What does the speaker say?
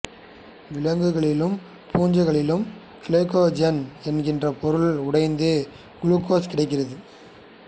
விலங்குகளிலும் பூஞ்சைகளிலும் கிளைகோஜென் என்கிற பொருள் உடைந்து குளுக்கோஸ் கிடைக்கிறது